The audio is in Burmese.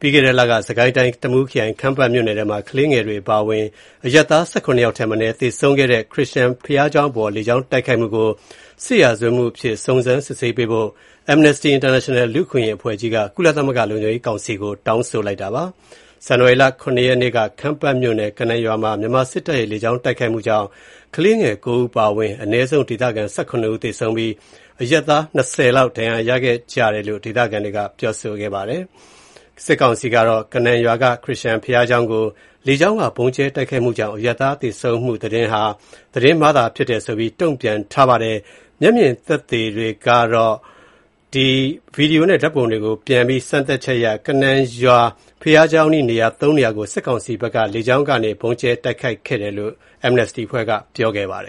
ပြီးခဲ့တဲ့လက စစ်ကိုင်းတိုင်း တမူးခရိုင် ခမ်းပတ်မြို့နယ်မှာ ကလေးငယ်တွေ အပါအဝင် အရပ်သား ၁၇ ယောက်ထက်မနည်း သေဆုံးခဲ့တဲ့ ခရစ်ယန် ဘုရားကျောင်းအပေါ် လေကြောင်းတိုက်ခိုက်မှုကို စစ်ရာဇဝတ်မှုအဖြစ် စုံစမ်းစစ်ဆေးဖို့ Amnesty International လူ့အခွင့်အရေး အဖွဲ့ကြီးက ကုလသမဂ္ဂ လုံခြုံရေးကောင်စီကို တောင်းဆိုပါတယ်။ ဇန္နဝါရီလ ရ ရက်နေ့က ခမ်းပတ်မြို့နယ် ကနန်ရွာမှာ မြန်မာစစ်တပ်ရဲ့ လေကြောင်းတိုက်ခိုက်မှုကြောင့် ကလေးငယ် ၉ ဦး အပါအဝင် အနည်းဆုံး ဒေသခံ ၁၇ ဦးသေဆုံးပြီး၊ အရပ်သား ၂၀ လောက် ဒဏ်ရာရခဲ့ကြာင်း ဒေသခံတွေက ပြောဆိုခဲ့ပါတယ်။ စစ်ကောင်စီကတော့ ကနန်ရွာက ခရစ်ယာန်ဘုရားကျောင်းကို လေကြောင်းက ဗုံးကြဲတိုက်ခိုက်မှုကြောင့် အရပ်သား သေဆုံးမှု သတင်းဟာ သတင်းမှားဖြစ်တယ်ဆိုပြီး တုံ့ပြန်ထားပါတယ်။ မျက်မြင်သက်သေတွေကို တွေ့ဆုံမေးမြန်းချက်၊ ဗွီဒီယိုနဲ့ ဓါတ်ပုံတွေကို ပြန်လည် စမ်းစစ်ချက်အရ ကနန်ရွာ St. Peter Baptist ဘုရားကျောင်းအနီး နေရာ သုံးနေရာကို စစ်ကောင်စီဘက်က လေကြောင်းကနေ ဗုံးတွေကြဲပြီး တိုက်ခိုက်ခဲ့တယ်လို့ Amnesty International အဖွဲ့က ပြောပါတယ